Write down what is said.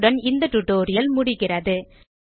இத்துடன் இந்த டியூட்டோரியல் முடிகிறது